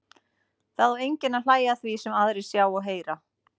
Það á enginn að hlæja að því sem aðrir sjá og heyra.